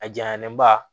A jayanlen ba